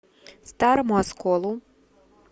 старому осколу